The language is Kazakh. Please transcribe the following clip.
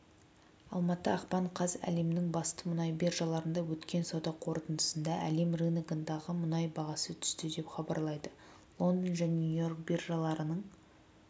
алматы ақпан қаз әлемнің басты мұнай биржаларында өткен сауда қорытындысында әлем рыногындағы мұнай бағасы түсті деп хабарлайды лондон және нью-йорк биржаларының